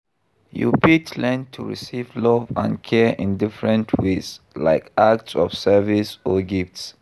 You fit learn to receive love and care in different ways, like acts of service or gifts.